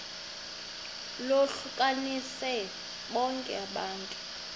lohlukanise bonke abantu